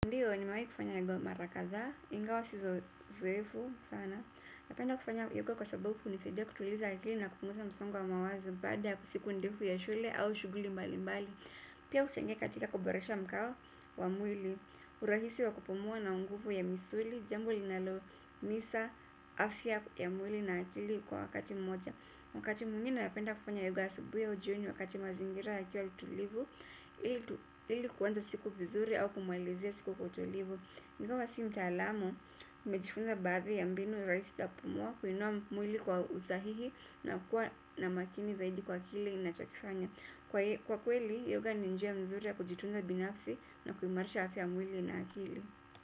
Ndiyo nimewahi kufanya hivyo marakadhaa, ingawa sio mzoefu sana. Napenda kufanya yoga kwasababu hunisaidia kutuliza akili na kupunguza msongo wa mawazo baada siku ndefu ya shule au shughuli mbali mbali. Pia huchangia katika kuboresha mng'ao wa mwili, urahisi wa kupumua na nguvu ya misuli, jambo linalo imarisha, afya ya mwili na akili kwa wakati mmoja. Wakati mwingine napenda kufanya yoga asubuhi au jioni wakati mazingira yakiwa utulivu, ili kuanza siku vizuri au kumalizia siku kwa utulivu. Ingawa si mtaalamu, nimejifunza baadhi ya mbinu rahisi za kupumua kuinua mwili kwa usahihi na kuwa na makini zaidi kwa kile ninachokifanya. Kwa kweli, yoga ni njia nzuri ya kujitunza binafsi na kuimarisha afya ya mwili na akili.